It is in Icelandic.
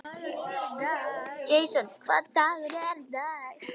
Jason, hvaða dagur er í dag?